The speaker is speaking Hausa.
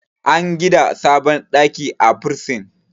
an gida sabon ɗaki a bursin